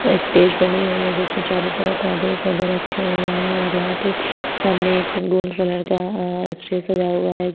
यहाँ स्टेज बनी हुए है जिसमें चारो तरफ पौधे ही पौधे रखे हुए है और यहाँ पे सामने एक गोल कलर का अ स्टेज सजा हुआ है।